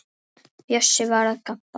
Bjössi var að gabba.